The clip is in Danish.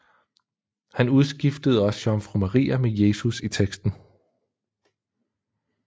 Han udskiftede også jomfru Maria med Jesus i teksten